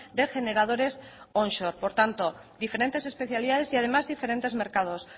de generadores onshore por tanto diferentes especialidades y además diferentes mercados